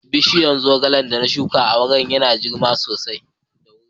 Bishiyar zogalen da na shuka a waje yana girma da wuri.